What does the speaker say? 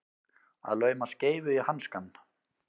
Að lauma skeifu í hanskann